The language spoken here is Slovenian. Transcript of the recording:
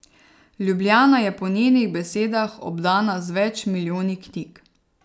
Ljubljana je po njenih besedah obdana z več milijoni knjig.